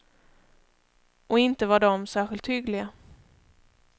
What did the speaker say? Och inte var de särskilt hyggliga.